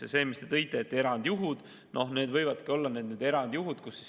Ja see, mis te tõite, erandjuhud – võivadki olla erandjuhud.